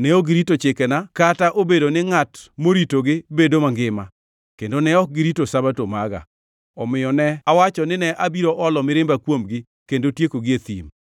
ne ok girito chikena, kata obedo ni ngʼat moritogi bedo mangima, kendo ne ok girito Sabato maga. Omiyo ne awacho ni ne abiro olo mirimba kuomgi kendo tiekogi e thim.